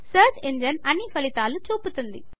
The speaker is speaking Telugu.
సర్చ్ ఇంజన్ అన్ని ఫలితాలను చూపుతుంది